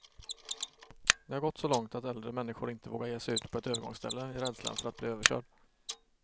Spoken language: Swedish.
Det har gått så långt att äldre människor inte vågar ge sig ut på ett övergångsställe, i rädslan för att bli överkörd.